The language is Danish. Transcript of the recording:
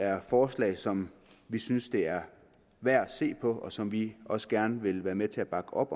er forslag som vi synes det er værd at se på og som vi også gerne vil være med til at bakke op